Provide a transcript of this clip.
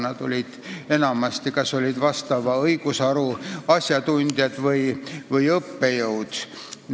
Nad olid enamasti kas vastava õigusharu asjatundjad või õppejõud.